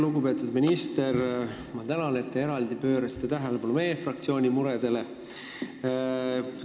Lugupeetud minister, ma tänan, et te pöörasite eraldi tähelepanu meie fraktsiooni muredele!